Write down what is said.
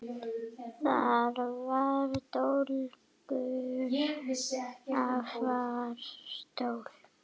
Þar var dólgur, afar stór